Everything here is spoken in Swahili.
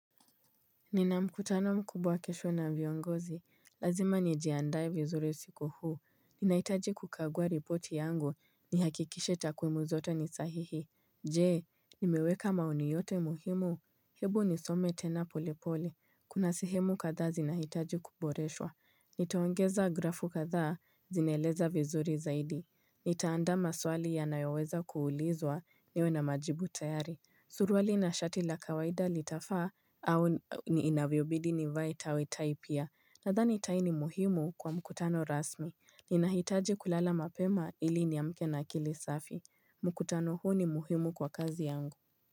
Nina mkutano mkubwa kesho na viongozi, lazima nijiandae vizuri siku huu, ninahitaji kukagua ripoti yangu, nihakikishe takwimu zote ni sahihi Jee, nimeweka maoni yote muhimu, hebu nisome tena polepole, kuna sehemu kadhaa zinahitaji kuboreshwa Nitaongeza grafu kadhaa zinaeleza vizuri zaidi, nitaandaa maswali yanayoweza kuulizwa niwe na majibu tayari Suruali na shati la kawaida litafaa au inavyobidi nivae tai tai pia Nadhani tai ni muhimu kwa mkutano rasmi Ninahitaji kulala mapema ili niamke na akili safi mkutano huu ni muhimu kwa kazi yangu.